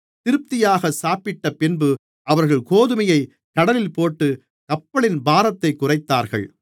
திருப்தியாக சாப்பிட்டபின்பு அவர்கள் கோதுமையைக் கடலிலே போட்டு கப்பலின் பாரத்தைக் குறைத்தார்கள்